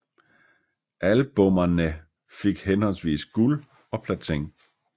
Albummerne fik henholdsvis guld og platin